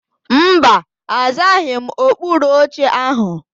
Mba, azaghị m okpuru oche áhụ̀.